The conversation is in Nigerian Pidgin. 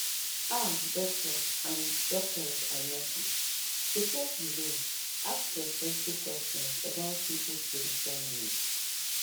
ah doctors and doctors and nurses suppose you know ask respectful questions about people spiritual needs